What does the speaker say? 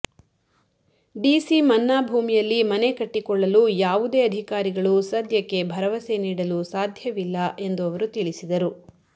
DC ಮನ್ನಾ ಭೂಮಿಯಲ್ಲಿ ಮನೆ ಕಟ್ಟಿಕೊಳ್ಳಲು ಯಾವುದೇ ಅಧಿಕಾರಿಗಳು ಸದ್ಯಕ್ಕೆ ಭರವಸೆ ನೀಡಲು ಸಾಧ್ಯವಿಲ್ಲ ಎಂದು ಅವರು ತಿಳಿಸಿದರು